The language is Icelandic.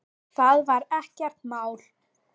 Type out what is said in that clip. Það var ekkert mál.